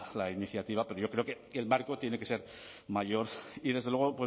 la iniciativa pero yo creo que el marco tiene que ser mayor y desde luego